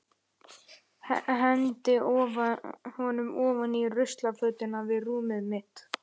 Eftir stutta viðdvöl á Skriðuklaustri hélt ræðismaðurinn áfram för sinni.